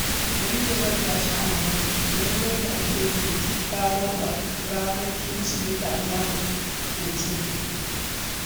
Elizabeth ta sha mamakin yadda ake yin bikin ranar Kirsimeti a jihar Osun.